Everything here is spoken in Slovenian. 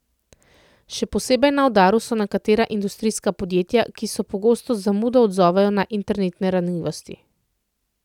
Še posebej na udaru so nekatera industrijska podjetja, ki se pogosto z zamudo odzovejo na internetne ranljivosti.